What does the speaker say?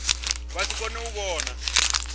vha si kone u vhona